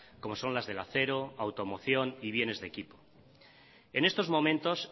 como son las del acero automoción y bienes de equipo en estos momentos